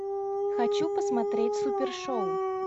хочу посмотреть супер шоу